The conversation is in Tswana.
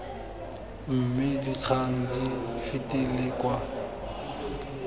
mme dikgang di fetele kwa